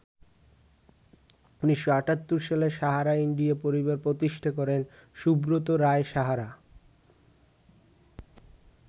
১৯৭৮ সালে ‘সাহারা ইন্ডিয়া পরিবার’ প্রতিষ্ঠা করেন সুব্রত রায় সাহারা।